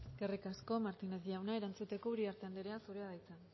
eskerrik asko martinez jauna erantzuteko uriarte andrea zurea da hitza